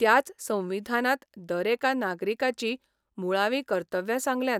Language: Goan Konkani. त्याच संविधानांत दरेका नागरिकाचीं मुळावीं कर्तव्यां सांगल्यांत.